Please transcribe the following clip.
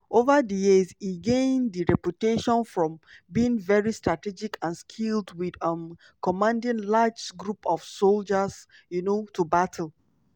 ova di years e gain di reputation from being very strategic and skilled wit um commanding large group of sojas um to battle.